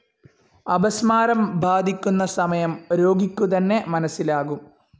അപസ്മാരം ബാധിക്കുന്ന സമയം രോഗിക്കുതന്നെ മനസിലാകും.